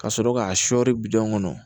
Ka sɔrɔ k'a sɔrɔri bidɔn kɔnɔ